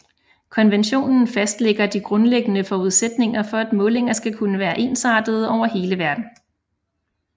Konventionen fastlægger de grundlæggende forudsætninger for at målinger skal kunne være ensartede over hele verden